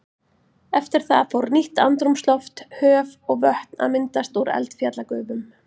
Eftir það fór nýtt andrúmsloft, höf og vötn að myndast úr eldfjallagufum.